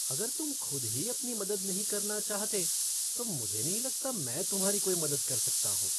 अगर तुम खुद ही अपनी मदद नहीं करना चाहते, तो मुझे नहीं लगता मैं तुम्हारी कोई मदद कर सकता हूँ।